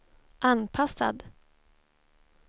anpassad